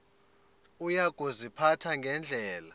uya kuziphatha ngendlela